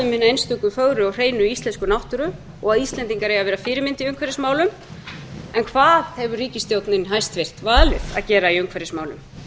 einstöku fögru og hreinu íslensku náttúru og að íslendinga eigi að vera fyrirmynd í umhverfismálum en hvað hefur ríkisstjórnin hæstvirt valið að gera í umhverfismálum